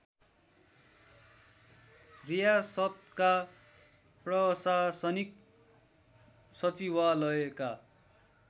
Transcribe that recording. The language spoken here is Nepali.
रियासतका प्रशासनिक सचिवालयका